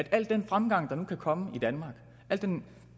al den fremgang der nu kan komme i danmark den